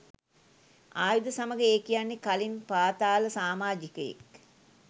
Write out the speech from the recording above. ආයුධ සමඟ ඒ කියන්නේ කලින් පාතාල සාමාජිකයෙක්.